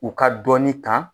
U ka dɔɔnin ta